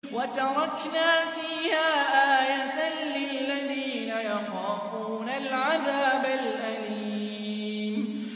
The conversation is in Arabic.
وَتَرَكْنَا فِيهَا آيَةً لِّلَّذِينَ يَخَافُونَ الْعَذَابَ الْأَلِيمَ